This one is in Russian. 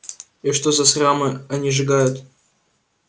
и что за храмы они сжигают